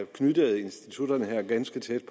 knyttede institutterne her ganske tæt